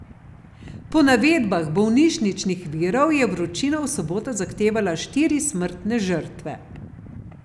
Po navedbah bolnišničnih virov je vročina v soboto zahtevala štiri smrtne žrtve.